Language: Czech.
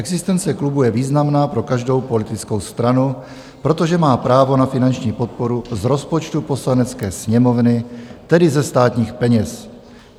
Existence klubu je významná pro každou politickou stranu, protože má právo na finanční podporu z rozpočtu Poslanecké sněmovny, tedy ze státních peněz.